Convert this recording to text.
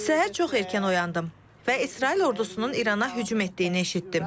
Səhər çox erkən oyandım və İsrail ordusunun İrana hücum etdiyini eşitdim.